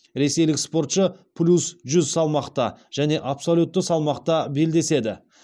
ресейлік спортшы плюс жүз салмақта және абсолютті салмақта белдеседі